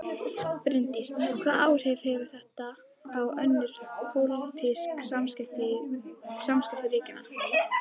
Bryndís: Hvaða áhrif hefur þetta á önnur pólitísk samskipti ríkjanna?